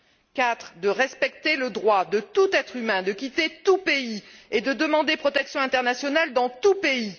quatrièmement, de respecter le droit de tout être humain de quitter tout pays et de demander protection internationale dans tout pays.